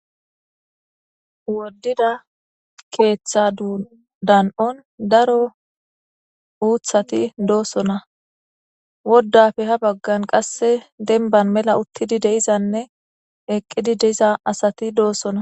woddida keeththa dan7on daro uuthati doosona woddafe ha baggan qasse denban mela uttidi de'izanne eqqidi deiza asati doossona